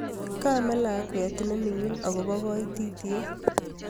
Kkamee lakweet ne mingin akobo koititiet